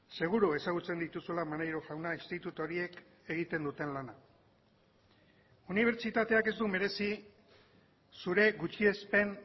seguru ezagutzen dituzula maneiro jauna institutu horiek egiten duten lana unibertsitateak ez du merezi zure gutxiespen